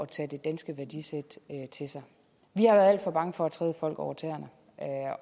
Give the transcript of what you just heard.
tage det danske værdisæt til sig vi har været alt for bange for at træde folk over tæerne